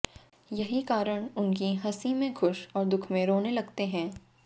यही कारण उनकी हंसी मेें खुश और दुख में रोने लगते हैं